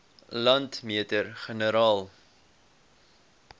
landmeter generaal